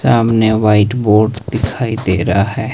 सामने white board दिखाई दे रहा है।